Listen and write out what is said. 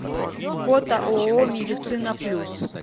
фото ооо медицина плюс